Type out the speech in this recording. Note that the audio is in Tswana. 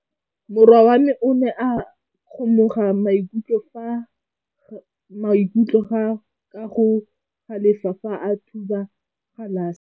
Morwa wa me o ne a kgomoga maikutlo ka go galefa fa a thuba galase.